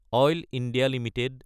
oil India Ltd